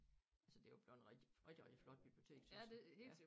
Altså det jo bleven rigtig rigtig rigtig flot bibliotek tøs jeg ja